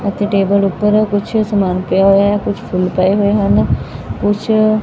ਇੱਥੇ ਟੇਬਲ ਉੱਪਰ ਕੁਝ ਸਮਾਨ ਪਿਆ ਹੋਇਆ ਕੁਝ ਫੁੱਲ ਪਏ ਹੋਏ ਹਨ ਕੁਝ --